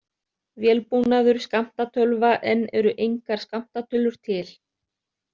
Vélbúnaður skammtatölva Enn eru engar skammtatölur til.